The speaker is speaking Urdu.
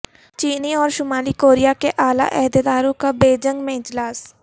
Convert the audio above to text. چینی اور شمالی کوریا کے اعلی عہدیداروں کا بیجنگ میں اجلاس